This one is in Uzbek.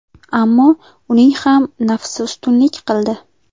Ammo uning ham nafsi ustunlik qildi.